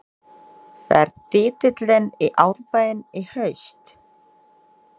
Fer titillinn í Árbæinn í haust?